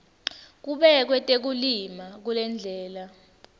kubekwe tekulima kulendlela